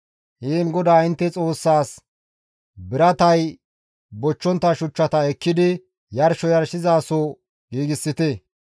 Heen GODAA intte Xoossaas biratay bochchontta shuchchata ekkidi yarsho yarshizaso giigsite.